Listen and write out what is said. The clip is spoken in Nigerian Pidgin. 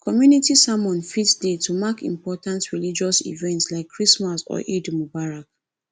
community sermon fit dey to mark important religious events like christmas or eid mubarak